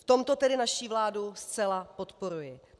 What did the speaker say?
V tomto tedy naší vládu zcela podporuji.